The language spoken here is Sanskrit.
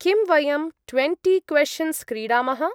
किं वयं ट्वेण्टी-क्वेश्चन्स् क्रीडामः?